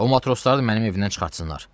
O matrosları mənim evimdən çıxartsınlar.